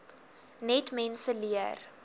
net mense leer